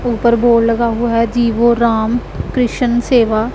ऊपर बोर्ड लगा हुआ है जीवो राम कृषन सेवा सेवा--